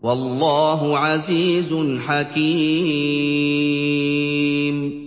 وَاللَّهُ عَزِيزٌ حَكِيمٌ